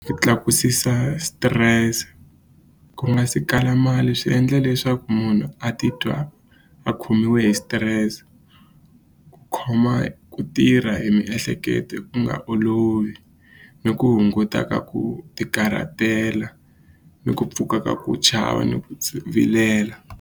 Ku tlakusisa stress ku nga si kala mali swi endla leswaku munhu a titwa a khomiwe hi stress khoma ku tirha hi miehleketo ku nga olovi ni ku hunguta ka ku tikarhatela ni ku pfuka ka ku chava ni ku vilela.